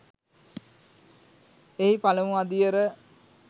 එහි පළමු අදියර